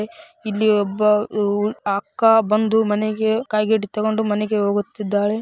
ಇಲ್ಲಿ ಒಬ್ಬ ಅ ಮ್ ಅಕ್ಕ ಬಂದು ಮನೆಗೆ ಕಾಗಿಟ್ ತಕ್ಕೊಂಡು ಮನೆಗೆ ಹೋಗುತ್ತಿದ್ದಾಳೆ.